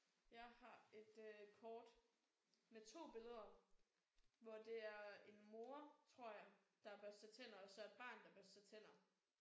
Jeg har et øh kort med 2 billeder hvor det er en mor tror jeg der børster tænder og så et barn der børster tænder